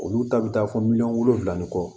Olu ta bɛ taa fɔ miliyɔn wolonwula ni kɔ